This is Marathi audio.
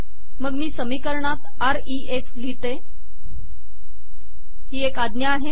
मग मी समीकरणात आर ई एफ लिहिते ही एक आज्ञा आहे